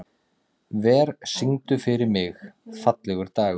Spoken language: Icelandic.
Ver, syngdu fyrir mig „Fallegur dagur“.